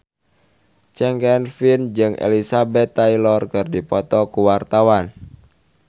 Chand Kelvin jeung Elizabeth Taylor keur dipoto ku wartawan